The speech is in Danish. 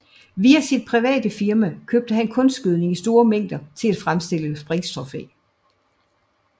Via sit private firma købte han kunstgødning i store mængder til at fremstille sprængstof af